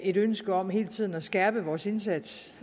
et ønske om hele tiden at skærpe vores indsats